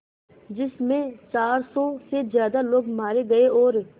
जिस में चार सौ से ज़्यादा लोग मारे गए और